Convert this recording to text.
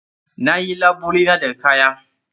Na yi labule na daga kaya.